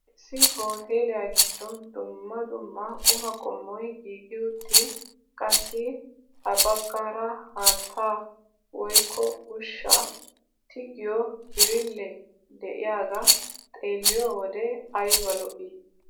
Issi hooteliyaa giddon dumma dumma qumaa qommoy giigi uttin qassi ha baggaara haattaa woykko ushshaa tigiyoo birillee de'iyaagaa xeelliyoo wode ayba lo"ii!